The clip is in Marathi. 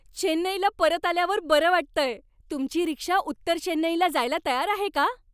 चेन्नईला परत आल्यावर बरं वाटतंय. तुमची रिक्षा उत्तर चेन्नईला जायला तयार आहे का?